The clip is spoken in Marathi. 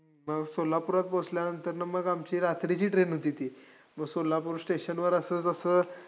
मग सोलापूरात पोहोचल्यानंतरनं मग आमची रात्रीची train होती ती. मग सोलापूर station वर असं जसं